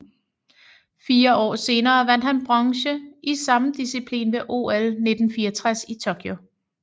Fire år senere vandt han bronze i samme disciplin ved OL 1964 i Tokyo